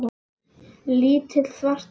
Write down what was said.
Lítill, svartur bíll.